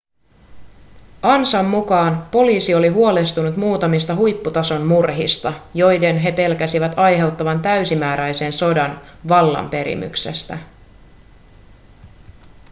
ansan mukaan poliisi oli huolestunut muutamista huipputason murhista joiden he pelkäsivät aiheuttavan täysimääräisen sodan vallanperimyksestä